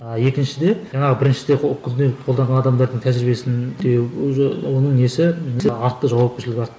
а екіншіде жаңағы біріншіде күнделік қолданған адамдардың тәжірибесінде уже оның несі артты жауапкершілігі артты